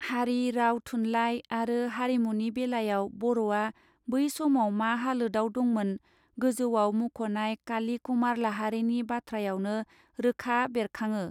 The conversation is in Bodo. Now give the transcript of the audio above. हारि राव थुनलाइ आरो हारिमुनि बेलायाव बर आ बै समाव मा हालोदआव दंमोन गोजौआव मुंख नाय काली कुमार लाहारिनि बाथ्रायावनो रोखा बेरकांङो.